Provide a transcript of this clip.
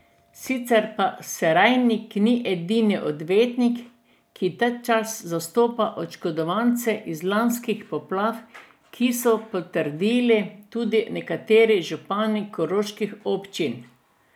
Sicer pa Serajnik ni edini odvetnik, ki tačas zastopa oškodovance iz lanskih poplav, kar so potrdili tudi nekateri župani koroških občin.